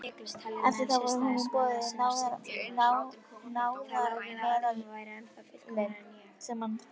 Eftir það voru honum boðin náðarmeðulin sem hann þáði.